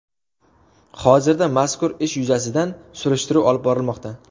Hozirda mazkur ish yuzasidan surishtiruv olib borilmoqda.